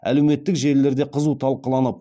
әлеуметтік желілерде қызу талқыланып